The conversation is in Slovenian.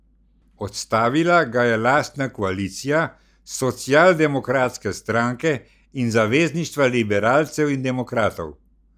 Odstavila ga je lastna koalicija Socialdemokratske stranke in Zavezništva liberalcev in demokratov.